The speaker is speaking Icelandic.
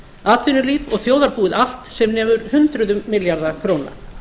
atvinnulíf og þjóðarbúið allt sem nemur hundruðum milljarða króna